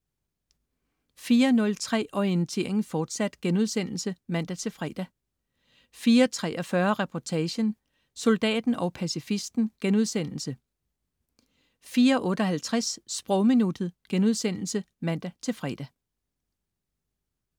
04.03 Orientering, fortsat* (man-fre) 04.43 Reportagen: Soldaten og pacifisten* 04.58 Sprogminuttet* (man-fre)